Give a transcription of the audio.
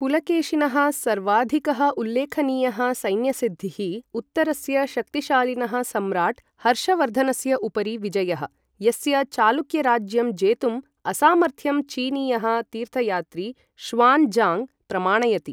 पुलकेशिनः सर्वाधिकः उल्लेखनीयः सैन्यसिद्धिः, उत्तरस्य शक्तिशालीनः सम्राट् हर्षवर्धनस्य उपरि विजयः, यस्य चालुक्यराज्यं जेतुम् असामर्थ्यं चीनीयः तीर्थयात्री ष़्वान् ज़ाङ्ग् प्रमाणयति।